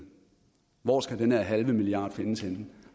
hvor skal den her halve milliard findes henne